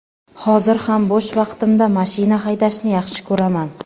Hozir ham bo‘sh vaqtimda mashina haydashni yaxshi ko‘raman.